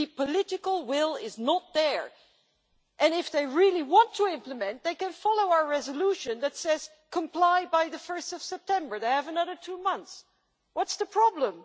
The political will is not there. If they really do want to implement, then they can follow our resolution that says Comply by 1 September'. They have another two months what's the problem?